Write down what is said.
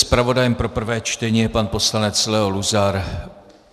Zpravodajem pro prvé čtení je pan poslanec Leo Luzar.